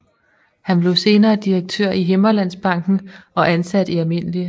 Han blev senere direktør i Himmerlandsbanken og ansat i Alm